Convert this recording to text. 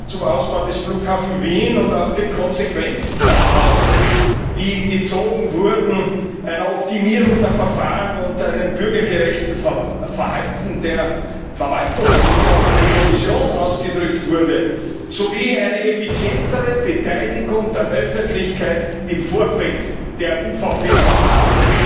zum Ausbau des Flughafens Wien und auch den Konsequenzen, die daraus gezogen wurden eine Optimierung der Verfahren und ein bürgergerechtes Verhalten der Verwaltung, worauf auch die Kommission hingewiesen wurde, sowie eine effizientere Beteiligung der Öffentlichkeit im Vorfeld der UVP Verfahren,